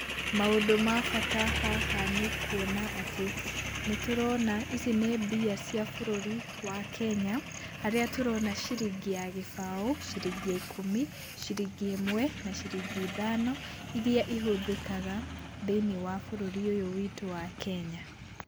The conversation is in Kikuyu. Maũndũ ma bata haha nĩkuona atĩ nĩtũrona ici nĩ mbia cia bũrũri wa Kenya, harĩa tũrona ciringi ya gĩbao, ciringi ya ikũmi , ciringi ĩmwe na ciringi ithano , iria ihũthĩkaga thĩiniĩ wa bũrũri ũyũ witũ wa Kenya.